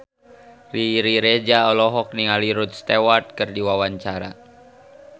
Riri Reza olohok ningali Rod Stewart keur diwawancara